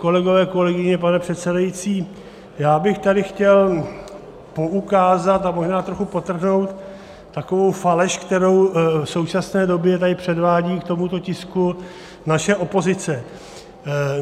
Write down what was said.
Kolegové, kolegyně, pane předsedající, já bych tady chtěl poukázat a možná trochu podtrhnout takovou faleš, kterou v současné době tady předvádí k tomuto tisku naše opozice.